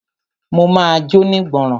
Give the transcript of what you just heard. Mo ma jónígbọràn.